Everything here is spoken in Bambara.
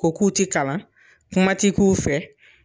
Ko k'u ti kalan kuma ti k'u fɛ